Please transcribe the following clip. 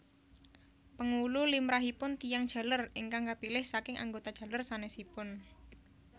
Pengulu limrahipun tiyang jaler ingkang kapilih saking anggota jaler sanèsipun